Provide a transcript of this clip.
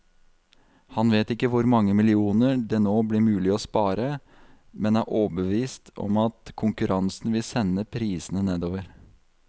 Han vet ikke hvor mange millioner det nå blir mulig å spare, men er overbevist om at konkurransen vil sende prisene nedover.